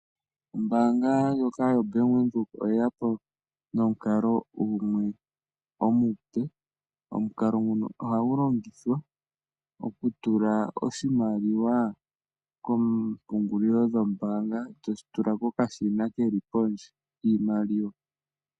Ombaanga yobank Windhoek oye ya po nomukalo omupe, ngoka hagu longithwa okutula oshimaliwa koompungulilo dhombaanga ta longitha okashina kopondje kiimaliwa.